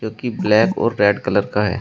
की ब्लैक और red colour का है।